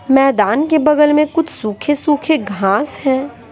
मैदान के बगल में कुछ सूखे-सूखे घास हैं।